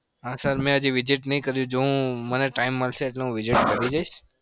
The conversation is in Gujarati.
હા sir મેં હજી visit નહી કરી. જો હું મને time મળશે એટલે visit કરી જઈશ.